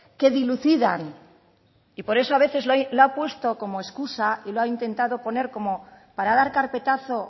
que dilucidan y por eso a veces lo ha puesto como escusa y lo ha intentado poner como para dar carpetazo